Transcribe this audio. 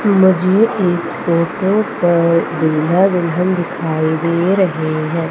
मुझे इस फोटो पर दूल्हा दुल्हन दिखाई दे रहे हैं।